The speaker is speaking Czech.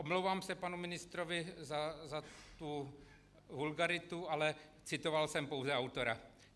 Omlouvám se panu ministrovi za tu vulgaritu, ale citoval jsem pouze autora.